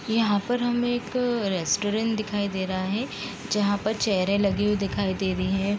यहाँ पर हमें एक रेस्टोरेंट दिखाई दे रहा हैं जहाँ पर चेयरें लगी हुई दिखाई दे रही हैं।